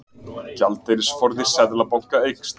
Gjaldeyrisforði Seðlabanka eykst